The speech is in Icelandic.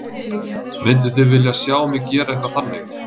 Mynduð þið vilja sjá mig gera eitthvað þannig?